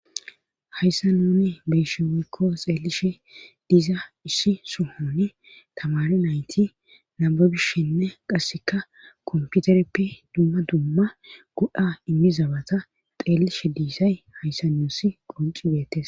hayssa nuni beyshe weykko xeelishe diza issi suhoni tamare nayti naababishenne qasseka komputereppe dumma dumma go,a immizabata xeellishe dizay hayssa nuusi qoncibeettes